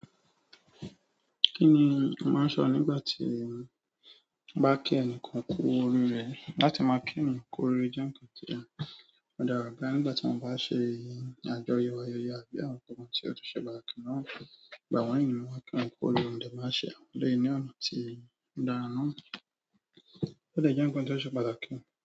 Kí ni a máa ń sọ nígbà tí a bá kí ẹnìkan kú oríre láti máa kí yàb kú oríre jẹ́ nǹkan tí ẹni ó dára bá nígbà tí wọ́n bá ń ṣe àjọyọ̀ ayẹyẹ àbí àwọn nǹkan tí ó ṣe pàtàkì náà. Ìgbà wọ́n yìí ni wọ́n máa ń kí wọ́n kú orí ẹ nígbà tí wọ́n bá ń ṣe àwọn ọdún yìí ọ̀nà tí dára. Lè jẹ nǹkan kan ti o ṣe pàtàkì?